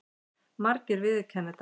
Margir viðurkenna þetta.